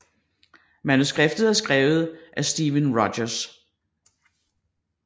Manuskriptet er skrevet af Steven Rogers